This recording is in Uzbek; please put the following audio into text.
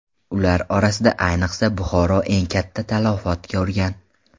Ular orasida ayniqsa Buxoro eng katta talafot ko‘rgan.